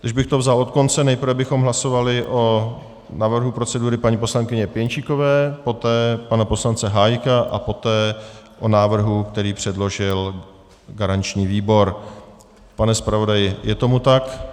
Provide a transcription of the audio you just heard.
Když bych to vzal od konce, nejprve bychom hlasovali o návrhu procedury paní poslankyně Pěnčíkové, poté pana poslance Hájka a poté o návrhu, který předložil garanční výbor. Pane zpravodaji, je tomu tak?